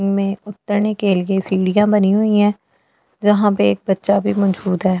में उतरने के लिए सीढ़ियां बनी हुई है यहां पे एक बच्चा भी मौजूद है।